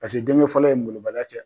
Paseke denkɛ fɔlɔ ye molobaliya kɛ.